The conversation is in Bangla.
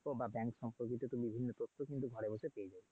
বা bank সম্পর্কিত বিভিন্ন তথ্য কিন্তু ঘরে বসে পেয়ে যাবি।